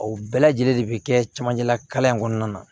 O bɛɛ lajɛlen de bɛ kɛ cɛmancɛ la kalan in kɔnɔna na